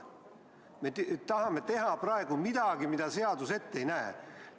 Me tahame praegu teha midagi, mida seadus ette ei näe.